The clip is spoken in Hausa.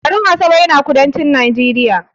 garin Asaba yana kudancin Najeriya